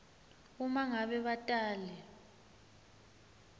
uma ngabe batali